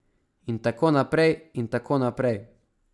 In tako naprej in tako naprej.